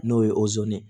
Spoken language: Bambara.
N'o ye ye